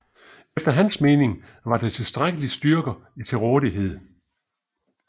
Efter hans mening var der tilstrækkelige styrker til rådighed